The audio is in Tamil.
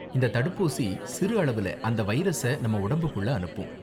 இந்த தடுப்பூசி சிறு அளவுல அந்த வைரஸை நம்ம உடம்புக்குள்ள அனுப்பும்.